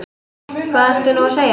Hvað ertu nú að segja?